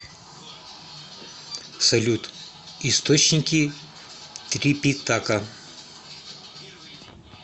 салют источники трипитака